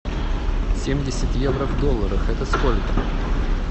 семьдесят евро в долларах это сколько